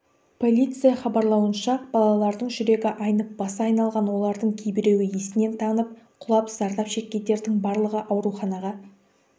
полиция хабарлауынша балалардың жүрегі айнып басы айналған олардың кейбіреуі естен танып құлап зардап шеккендердің барлығы ауруханаға